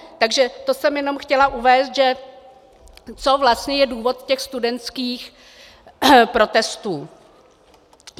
Takže to jsem jenom chtěla uvést, co vlastně je důvod těch studentských protestů.